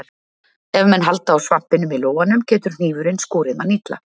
Ef menn halda á svampinum í lófanum getur hnífurinn skorið mann illa.